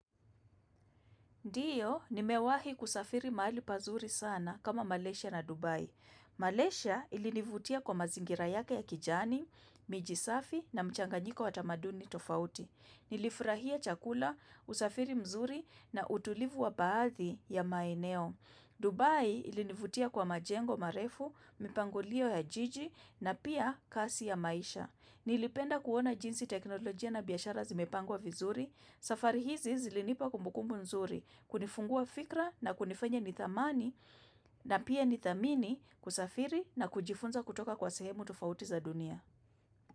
Ndiyo, nimewahi kusafiri mahali pazuri sana kama Malaysia na Dubai. Malaysia ilinivutia kwa mazingira yake ya kijani, miji safi na mchanganyiko wa tamaduni tofauti. Nilifurahia chakula, usafiri mzuri na utulivu wa baadhi ya maeneo. Dubai ilinivutia kwa majengo marefu, mipangulio ya jiji na pia kasi ya maisha. Nilipenda kuona jinsi teknolojia na biashara zimepangwa vizuri. Safari hizi zilinipa kumbukumbu nzuri, kunifungua fikra na kunifanya nithamani na pia nithamini kusafiri na kujifunza kutoka kwa sehemu tufauti za dunia.